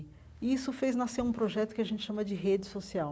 E isso fez nascer um projeto que a gente chama de rede social,